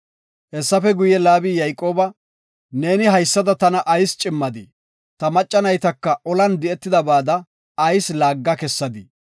Hessafe guye, Laabi Yayqooba, “Neeni haysada tana ayis cimmadii? Ta macca naytaka olan di7etidabada ayis laagga kessadii?